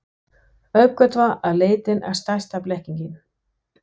Uppgötvar að leitin er stærsta blekkingin.